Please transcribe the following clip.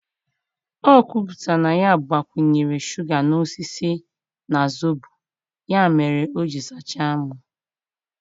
O kwuputara na ya gbakwunyere shuga n'osisi na zobo, ya mere o ji sachaa m.